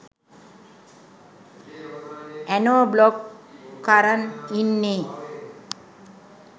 ඇනෝ බ්ලොක් කරන් ඉන්නෙ